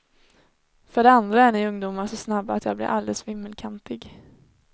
För det andra är ni ungdomar så snabba att jag blir alldeles vimmelkantig.